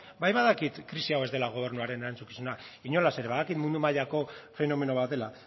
bai badakit krisi hau ez dela gobernuaren erantzukizuna inolaz ere badakit mundu mailako fenomeno bat dela